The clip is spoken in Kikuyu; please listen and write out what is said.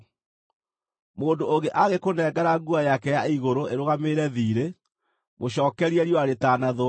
Mũndũ ũngĩ angĩkũnengera nguo yake ya igũrũ ĩrũgamĩrĩre thiirĩ, mũcookerie riũa rĩtanathũa,